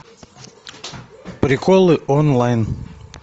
приколы онлайн